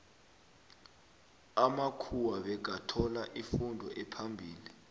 amamkhuwa bekathola ifundo ephambili